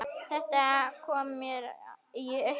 Þetta kom mér í uppnám